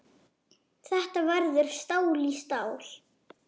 Þetta verður stál í stál.